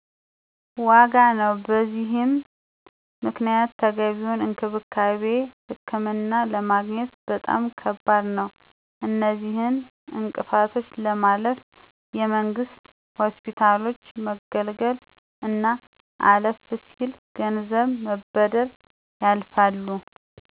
ዋጋ ነው። በዚህም ምክንያት ተገቢውን እንክብካቤና ህክምና ለማግኘት በጣም ከባድ ነዉ። አነዚህን እንቅፋቶች ለማለፍ የመንግስት ሆስፒታሎች መገልገል አና አለፍ ሲል ገንዘብ በመበደር ያልፋሉ።